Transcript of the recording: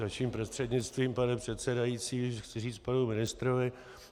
Vaším prostřednictvím, pane předsedající, chci říci panu ministrovi.